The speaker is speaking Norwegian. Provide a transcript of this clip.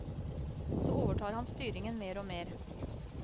Så overtar han styringen mer og mer.